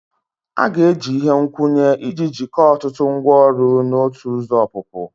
A ga-eji ihe nkwụnye iji jikọọ ọtụtụ ngwaọrụ na otu ụzọ ọpụpụ